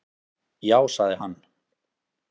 Já, sagði hann.